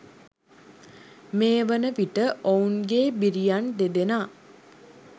මේ වනවිට ඔවුන්ගේ බිරියන් දෙදෙනා